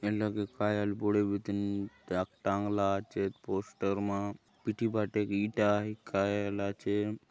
ये लगे काय आय आले बड़े बीतिन टांगला आचेत पोस्टर मन पीठी बाटे ईटा आय काय आय आले आचे।